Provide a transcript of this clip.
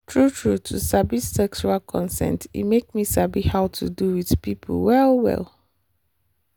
true true to sabi sexual consent e make me sabi how to do with people well well.